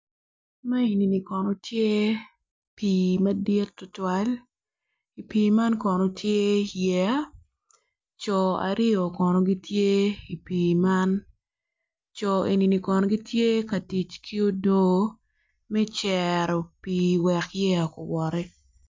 Ma enini kono tye pii madit tutwal i pii man kono tye yeya co aryo kono gitye i pii man co enini kono gitye ka ic ki odoo ma cero pii wek yeya kuwoti